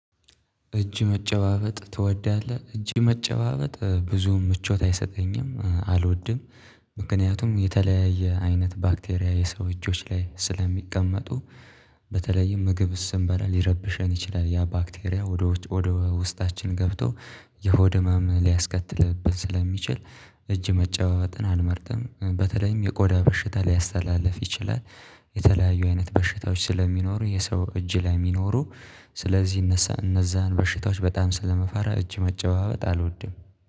እጅ መጨባበጥ ትወዳለህ እጅ መጨባበጥ ብዙም ምቾት አይሰጠኝም አልወድም። ምክንያቱም የተለያየ አይነት ባክቴሪያ የሰው እጆች ላይ ስለሚቀመጡ በተለይም ምግብ ስምበላ ሊረብሸን ይችላል ያ ባክቴሪያ ወደ ውስጣችን ገብቶ የሆድ ህመም ሊያስከትልብን ስለሚችል። እጅ መጫወትን አንመርጥም በተለይም የቆዳ በሽታ ሊያስተላልፍ ይችላል። የተለያዩ አይነት በሽታዎች ስለሚኖሩ የሰው እጅ ላይ የሚኖሩ ስለዚህ እነዛን በሽታዎች በጣም ስለመፈራ እጅ መጨዋወጥ አልወድም